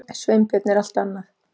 Sveinbjörn er allt annað.